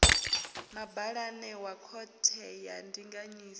mabalane wa khothe ya ndinganyiso